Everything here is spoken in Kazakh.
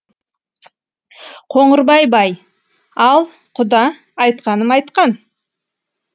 қоңырбай бай ал құда айтқаным айтқан